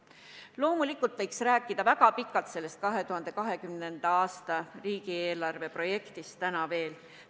Loomulikult võiks 2020. aasta riigieelarve projektist täna veel väga pikalt rääkida.